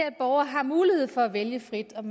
at borgere har mulighed for at vælge frit om